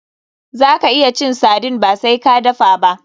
Zaka iya cin sardine ba sai ka dafa ba.